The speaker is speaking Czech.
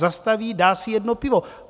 Zastaví, dá si jedno pivo.